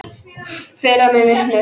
Firra mig vitinu.